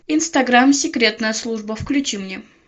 инстаграм секретная служба включи мне